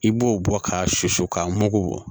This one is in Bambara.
I b'o bɔ k'a susu k'a mugu